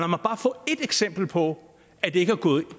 mig bare få ét eksempel på at det ikke er gået i